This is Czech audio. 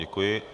Děkuji.